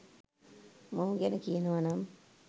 මොහු ගැන කියනවනනම්